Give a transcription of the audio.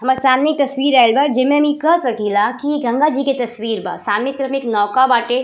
हमार सामने ई तस्वीर आइल बा जेमे मी कह सकीला की इ गंगा जी के तस्वीर बा। सामने के तरफ में एक नौका बाटे।